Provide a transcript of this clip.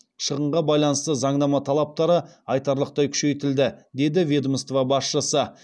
шығынға байланысты заңнама талаптары айтарлықтай күшейтілді деді ведомство басшысы